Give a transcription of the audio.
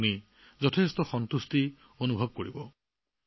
ই আপোনাক প্ৰশান্তি অনুভৱ কৰাব